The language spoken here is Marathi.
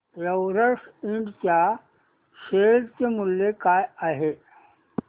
एव्हरेस्ट इंड च्या शेअर चे मूल्य काय आहे